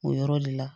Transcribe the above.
O yɔrɔ le la